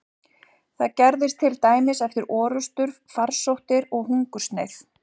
Það gerðist til dæmis eftir orrustur, farsóttir eða hungursneyð.